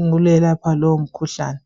ukwelapha lowo mkhuhlane